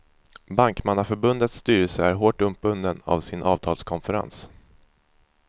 Bankmannaförbundets styrelse är hårt uppbunden av sin avtalskonferens.